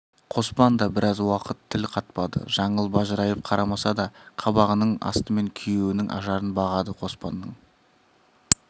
қоспан да біраз уақыт тіл қатпады жаңыл бажырайып қарамаса да қабағының астымен күйеуінің ажарын бағады қоспанның